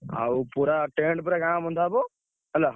ଆଉ ପୁରା tent ପୁରା ଗାଁ ବନ୍ଧା ହବ।